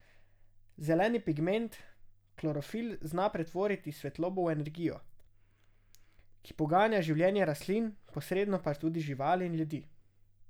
Zeleni pigment klorofil zna pretvoriti svetlobo v energijo, ki poganja življenje rastlin, posredno pa tudi živali in ljudi.